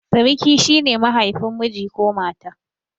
Siriki shi ne mahaifin miji ko mata.